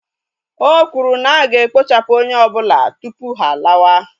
O kwuru na aga ekpochapụ onye ọbụla tupu ha alawa